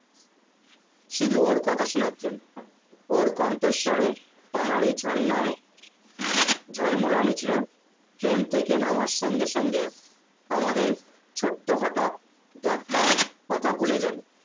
শুধু ওর কথা শোনার জণ্য ওর কণ্ঠস্বরে পাহাড়ি ঝর্ণার ঝলমলানি ছিল train থেকে নামার সঙ্গে সঙ্গেও আমাদের ছোট্ট হটাৎ দ্যাখার কথা ভুলে যাবে